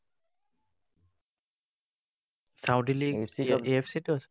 Saudi league AFC টো আছে?